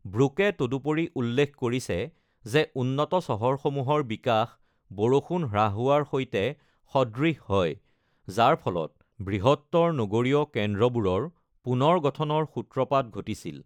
ব্ৰুকে তদুপৰি উল্লেখ কৰিছে যে উন্নত চহৰসমূহৰ বিকাশ বৰষুণ হ্ৰাস হোৱাৰ সৈতে সদৃশ হয়, যাৰ ফলত বৃহত্তৰ নগৰীয় কেন্দ্ৰবোৰৰ পুনৰ গঠনৰ সূত্ৰপাত ঘটিছিল।